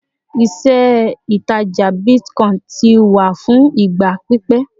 ìṣe ìtajà bitcoin ti wà fún ìgbà pípé